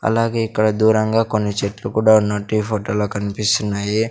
అలాగే ఇక్కడ దూరంగా కొన్ని చెట్లు కూడా ఉన్నట్టు ఈ ఫోటోలో కన్పిస్తున్నాయి.